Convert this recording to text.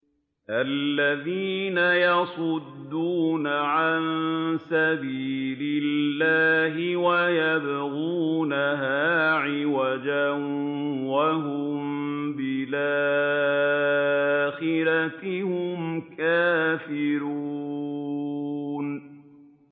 الَّذِينَ يَصُدُّونَ عَن سَبِيلِ اللَّهِ وَيَبْغُونَهَا عِوَجًا وَهُم بِالْآخِرَةِ هُمْ كَافِرُونَ